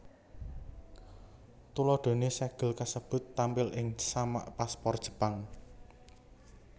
Tuladhané sègel kasebut tampil ing samak paspor Jepang